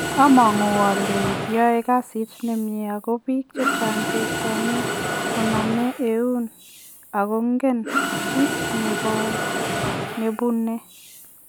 Amang'u ole yoe kasit nemie ago biik chechang' chechome konome eun agongen kiit nebonee.